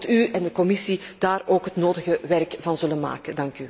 Ik hoop dat u en de Commissie daar het nodige werk van zullen maken.